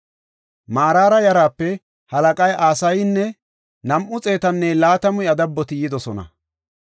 Maraara yaraape halaqay Asayinne nam7u xeetanne laatamu iya dabboti yidosona.